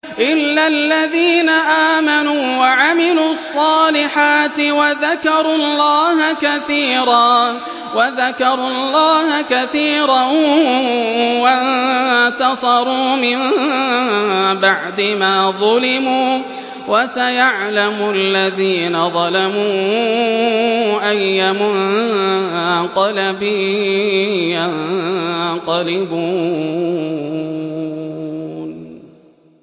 إِلَّا الَّذِينَ آمَنُوا وَعَمِلُوا الصَّالِحَاتِ وَذَكَرُوا اللَّهَ كَثِيرًا وَانتَصَرُوا مِن بَعْدِ مَا ظُلِمُوا ۗ وَسَيَعْلَمُ الَّذِينَ ظَلَمُوا أَيَّ مُنقَلَبٍ يَنقَلِبُونَ